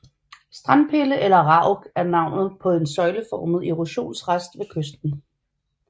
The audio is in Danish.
Strandpille eller rauk er navnet på en søjleformet erosionsrest ved kysten